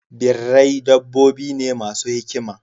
Birrai dabbobi ne masu hikima.